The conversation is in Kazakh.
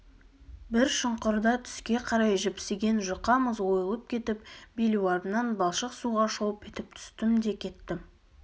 бір шұңқырда түске қарай жіпсіген жұқа мұз ойылып кетіп белуарымнан балшық суға шолп етіп түстім де кеттім